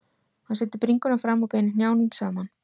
Hann setur bringuna fram og beinir hnjánum saman.